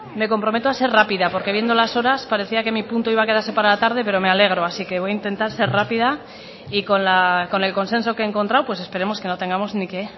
me comprometo a ser rápida porque viendo las horas parecía que mi punto iba a quedarse para la tarde pero me alegro así que voy a intentar ser rápida y con el consenso que he encontrado pues esperemos que no tengamos ni que